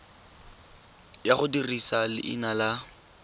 ya go dirisa leina la